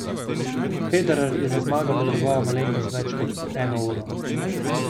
Federer je za zmago potreboval malenkost več kot eno uro.